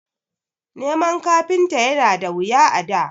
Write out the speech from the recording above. Neman kafinta yana da wuya a da